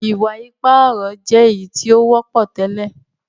iwa-ipa ọrọ jé èyítí o wọpọ tẹlẹ.